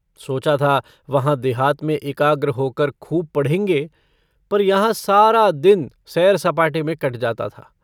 सोचा था, वहाँ देहात में एकाग्र होकर खूब पढ़ेंगे। पर यहाँ सारा दिन सैर-सपाटे में कट जाता था।